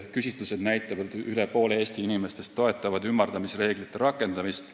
Küsitlused näitavad, et üle poole Eesti inimestest toetab ümardamisreeglite rakendamist.